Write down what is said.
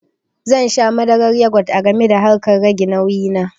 Zan sha madarar yogut a gami da harkar rage nauyi na